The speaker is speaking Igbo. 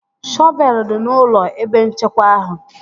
Shọvelu dị n'ụlọ ebe nchekwa ahụ